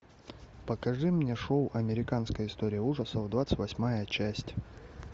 покажи мне шоу американская история ужасов двадцать восьмая часть